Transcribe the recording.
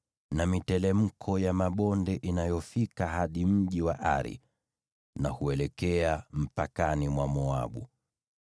na miteremko ya mabonde inayofika hadi mji wa Ari na huelekea mpakani mwa Moabu.”